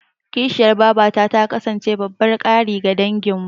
Kishiyar babata ta kasance babban ƙari ga danginmu.